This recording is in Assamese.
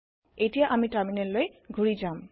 এতিয়া আমি টাৰ্মিনেললৈ ঘুৰি যাম